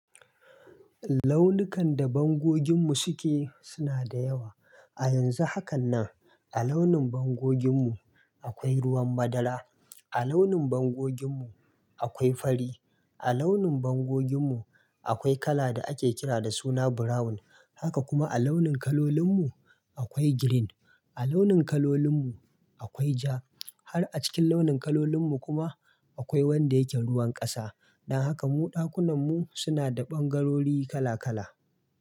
Launukan da bangoginmu suke suna da yawa. A yanzu haka nan a launin bangoginmu akwai ruwan madara, a launin bangoginmu akwai fari, a launin bangoginmu akwai kala da ake kira da suna brown. Haka kuma a launin kalolinmu akwai green, a launin kalolinmu akwai ja. Har a cikin launin kalolinmu kuma akwai wanda yake ruwan ƙasa. Dan haka mu ɗakunanmu suna da ɓangarori kala kala.